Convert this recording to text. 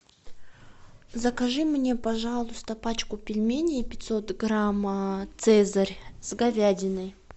закажи мне пожалуйста пачку пельменей пятьсот грамм цезарь с говядиной